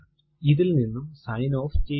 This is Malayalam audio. ഇത് ഇൽ നിന്നും സൈൻ ഓഫ് ചെയ്യുന്നു